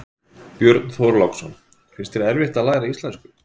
Björn Þorláksson: Finnst þér erfitt að læra íslensku?